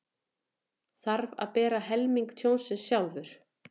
Þarf að bera helming tjónsins sjálfur